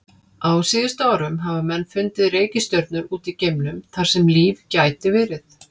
Á síðustu árum hafa menn fundið reikistjörnur út í geimnum þar sem líf gæti verið.